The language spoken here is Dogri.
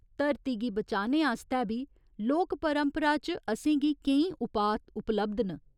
धरती गी बचाने आस्तै बी लोक परंपरा च असें गी केईं उपाऽ उपलब्ध न।